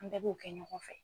An bɛɛ b'o kɛ ɲɔgɔn fɛ.